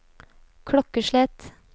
klokkeslett